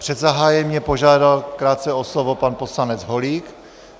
Před zahájením mě požádal krátce o slovo pan poslanec Holík.